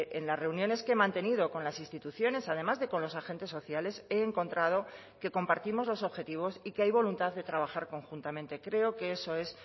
en las reuniones que he mantenido con las instituciones además de con los agentes sociales he encontrado que compartimos los objetivos y que hay voluntad de trabajar conjuntamente creo que eso es